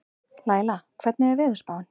Laíla, hvernig er veðurspáin?